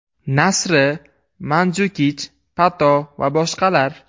Nasri, Manjukich, Pato va boshqalar.